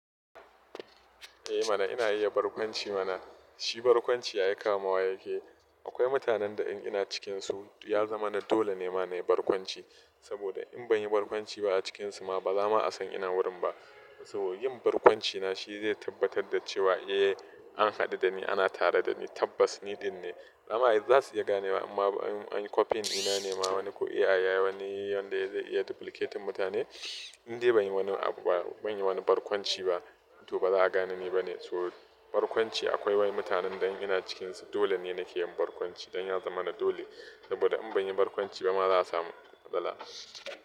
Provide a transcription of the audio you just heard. Eh mana ina iya barkwanci mana, shi barkwanci ai kama wa yake. Akwai mutanen da in ina cikinsu ya zama na dole ne ma na yi barkwanci. Saboda in ban yi barkwanci ba a cikinsu ma ba za ma a san ina wurin ba. To yin barkwanci na shi zai tabbatar da cewa eh an haɗu da ni, ana tare da ni, tabbas ni ɗin ne. Amma za su iya gane ba amma in copy ina ne ma wani ko AI ya yi wani yanda zai iya duplicate mutane, in dai ban yi wani abu ba, ban yi wani barkwanci ba to ba za a gane ni ba ne. So barkwanci akwai wani mutanen dan ina cikinsu dole ne nake yin barkwanci don ya zama na dole. Saboda in ban yi barkwanci ba ma za a samu matsala.